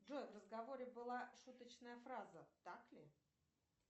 джой в разговоре была шуточная фраза так ли